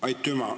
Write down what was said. Aitüma!